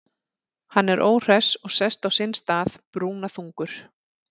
Hann er óhress og sest á sinn stað, brúnaþungur.